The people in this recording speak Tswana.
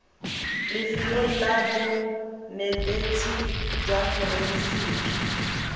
lefelong la bonetetshi jwa forensiki